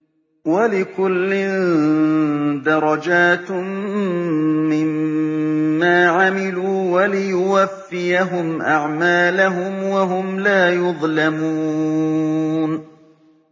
وَلِكُلٍّ دَرَجَاتٌ مِّمَّا عَمِلُوا ۖ وَلِيُوَفِّيَهُمْ أَعْمَالَهُمْ وَهُمْ لَا يُظْلَمُونَ